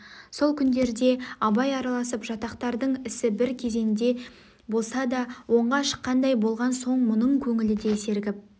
сол күндерде абай араласып жатақтардың ісі бір кезенде болса да оңға шыққандай болған соң мұның көңілі де сергіп